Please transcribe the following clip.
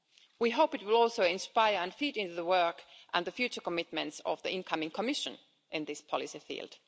We hope it will also inspire and feed into the work and the future commitments of the incoming Commission in this policy field.